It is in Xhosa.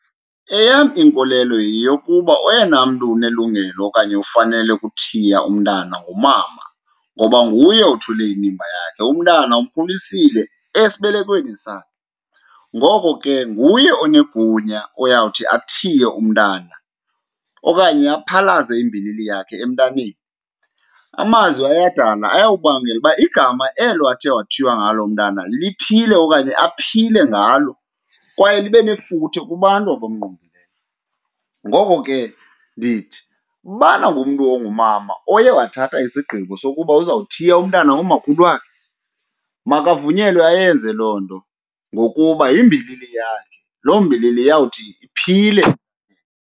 Eyam inkolelo yeyokuba oyena mntu unelungelo okanye ufanele ukuthiya umntana ngumama, ngoba nguye othule inimba yakhe, umntana umkhulisile esibelekweni sakhe. Ngoko ke, nguye onegunya oyawuthi athiye umntana okanye aphalaze imbilini yakhe emntaneni. Amazwi ayadala, ayawubangela uba igama elo athe wathiywa ngalo umntana liphile okanye aphile ngalo kwaye libe nefuthe kubantu abamngqongileyo. Ngoko ke, ndithi ubana ngumntu ongumama oye wathatha isigqibo sokuba uzawuthiya umntana ngomakhulu wakhe makavunyelwe ayenze loo nto ngokuba yimbilini yakhe, loo mbilini iyawuthi iphile.